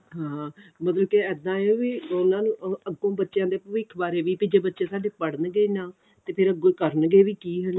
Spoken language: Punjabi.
ਹਾਂ ਮਤਲਬ ਕੀ ਇੱਦਾਂ ਆ ਵੀ ਉਹਨਾ ਨੂੰ ਅੱਗੋਂ ਬੱਚਿਆਂ ਦੇ ਭਵਿਖ ਬਾਰੇ ਵੀ ਜੇ ਬੱਚੇ ਸਾਡੇ ਪੜ੍ਹਨਗੇ ਨਾ ਤੇ ਅੱਗੋਂ ਕਰਨਗੇ ਵੀ ਕੀ ਹਨਾ